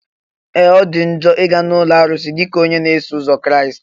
Ee! Ọ dị njọ ị ga na ụlọ arụsị dịka onye na-eso ụzọ Kraịst.